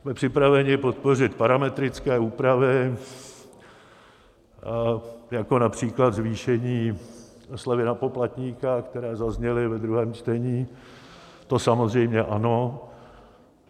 Jsme připraveni podpořit parametrické úpravy, jako například zvýšení slevy na poplatníka, které zazněly ve druhém čtení, to samozřejmě ano.